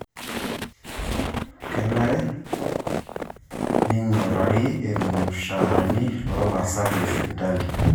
Kenare ning'urari irmushaarani loo laasak le sipitali